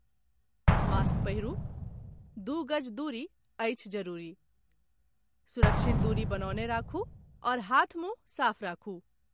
Mask पहिरू, दू गज दूरी अछि जरूरी, सुरक्षित दूरी बनौने राखू आओर हाथ मुंह साफ राखू।